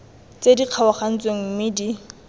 tse di kgaogantsweng mme di